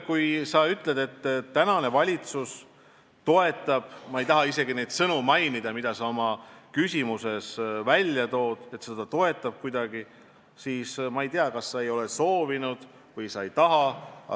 Kui sina ütled nüüd, et uus valitsus toetab neid põhimõtteid – ma ei taha isegi neid sõnu välja öelda, mis sinu küsimuses kõlasid –, siis ma ei tea, kas sa ei ole soovinud koalitsioonilepet lugeda või mis.